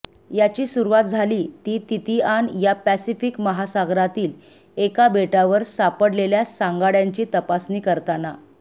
याची सुरवात झाली ती तितीआन या पॅसिफिक महासागरातील एका बेटावर सापडलेल्या सांगाड्यांची तपासणी करताना